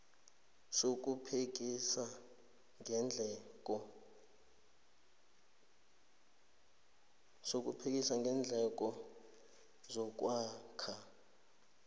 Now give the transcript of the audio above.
sokuphekisa ngeendleko zokwakha